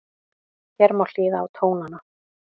Hér má hlýða á tónana